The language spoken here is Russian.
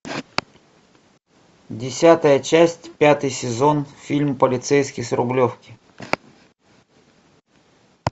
десятая часть пятый сезон фильм полицейский с рублевки